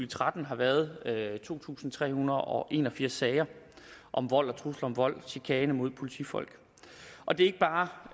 tretten har været to tusind tre hundrede og en og firs sager om vold og trusler om vold chikane mod politifolk og det